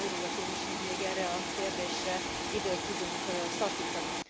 Nagyon örülök én is, hogy még erre a kérdésre időt tudunk szakítani.